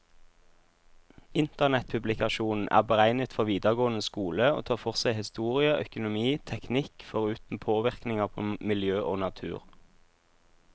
Internettpublikasjonen er beregnet for videregående skole, og tar for seg historie, økonomi, teknikk, foruten påvirkninger på miljø og natur.